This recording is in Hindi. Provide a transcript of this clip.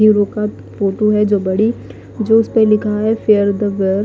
ये रोका फोटू है जो बड़ी जोश में लिखा है फेर द वेअर --